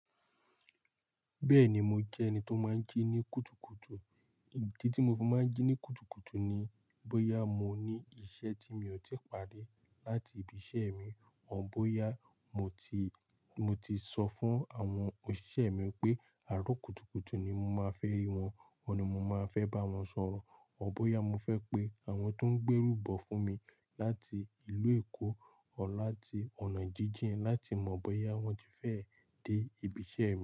Bẹ́ẹ̀ni mo jẹ́ ẹni tó máa ń jí ní kùtùkùtù. Idi tí mo fi máa ń jí ní kùtùkùtù ni bóyá mo ní iṣẹ́ tí mi ò tí pàri láti ibi iṣẹ́ mi o, bóyá mo ti, mo ti sọ fún àwọn òṣìṣẹ́ mi pé àárọ̀ kùtùkùtù ni mo máa fẹ́ rí wọn, ọ̀ni mo máa fẹ́ bá wọn sọ̀rọ̀ o, bóyá mo fẹ́ pé àwọn tó ń gbé rúbọ̀ fún mi láti ìlú Èkó or láti ọ̀nà jíjìn láti mọ̀ bóyá wọ́n ti fẹ́ dé ibi iṣẹ́ mi.